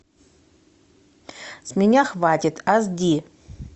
с меня хватит аш ди